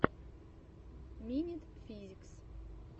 минит физикс